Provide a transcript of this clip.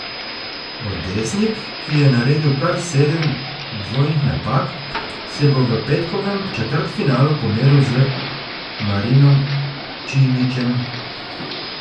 Odesnik, ki je naredil kar sedem dvojnih napak, se bo v petkovem četrtfinalu pomeril z Marinom Čilićem.